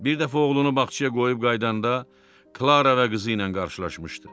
Bir dəfə oğlunu bağçaya qoyub qayıdanda Klara və qızı ilə qarşılaşmışdı.